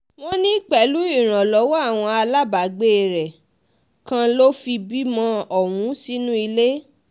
wọ́n ní pẹ̀lú ìrànlọ́wọ́ àwọn aláàbàgbé rẹ̀ kan ni ló fi bímọ ọ̀hún sínú ilé